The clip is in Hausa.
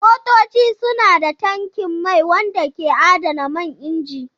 Motoci suna da tankin mai wanda ke adana man inji.